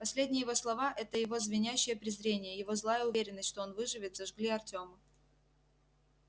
последние его слова это его звенящее презрение его злая уверенность что он выживет зажгли артёма